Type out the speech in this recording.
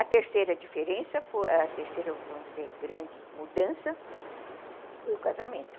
A terceira diferença, a terceira, vamos dizer, grande mudança foi o casamento.